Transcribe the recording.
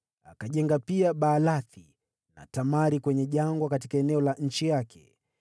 akajenga Baalathi na Tamari kwenye jangwa katika eneo la nchi yake,